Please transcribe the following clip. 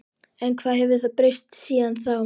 En hvað hefur breyst síðan þá?